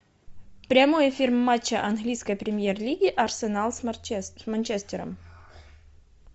прямой эфир матча английской премьер лиги арсенал с манчестером